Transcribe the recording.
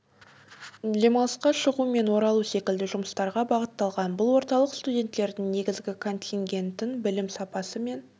демалысқа шығу мен оралу секілді жұмыстарға бағытталған бұл орталық студенттердің негізгі контингентін білім сапасы мен